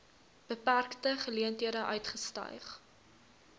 beperkte geleenthede uitgestyg